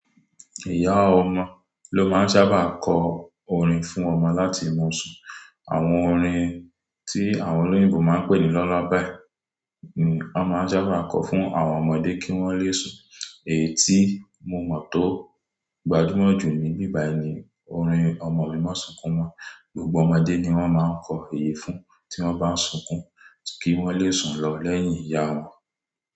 Ìyá ọmọ ló máa ń sábà kọ orin fún ọmọ láti mu sun. Àwọn orin tí àwọn olóyinbo máa ń pè ní lullaby ni won máa ń sábà kọ fún àwọn ọmọdé kí wọ́n le sùn. Èyí tí mo mọ̀ tó gbajúmọ̀ jù ní ibí bàyii ni orin "Ọmọ mi má sunkún mo". Gbogbo ọmọdé ni wọ́n máa ń kọ èyí fún tí wọ́n bá ń sunkún kí wọ́n le sùn lọ lẹ́yìn ìyá wọn.